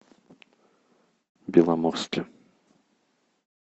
беломорске